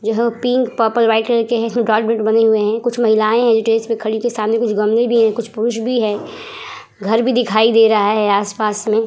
यह pink purple white colour के हैं। गात बने हुए हैं। कुछ महिलायें हैं जो इसमें खड़ी हैं। सामने कुछ गमले भी हैं। कुछ पुरुष भी हैं। घर भी दिखाई दे रहा है आस पास में।